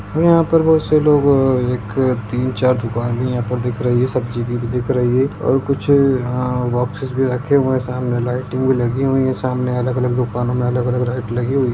यहां पे बहुत से लोग एक तीन-चार दुकाने यहां पर दिख रही है सब्जी की भी दिख रही है और कुछ बोक्सेस भी यहां पर रखे हुए है सामने लाइटिंग भी लगी हुई है सामने अलग-अलग दुकानो में अलग-अलग लाइट लगी हुई --